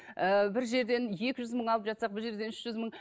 ы бір жерден екі жүз мың алып жатсақ бір жерден үш жүз мың